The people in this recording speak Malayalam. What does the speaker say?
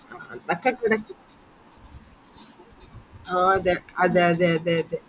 ആഹ് അതെ അതെ അതെ അതെ അതെ